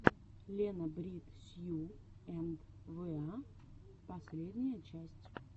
лена брит сью энд вэа последняя часть